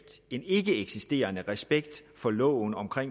en ikkeeksisterende respekt for loven om